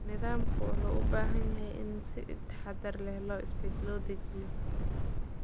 Nidaamka wuxuu u baahan yahay in si taxadar leh loo dejiyo.